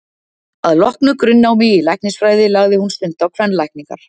Að loknu grunnnámi í læknisfræði lagði hún stund á kvenlækningar.